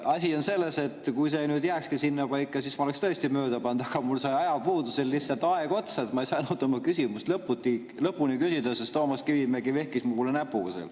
Asi on selles, et kui see jääkski sinnapaika, siis ma oleksin tõesti mööda pannud, aga mul sai ajapuudusel lihtsalt aeg otsa ja ma ei saanud oma küsimust lõpuni küsida, sest Toomas Kivimägi vehkis mu poole näpuga.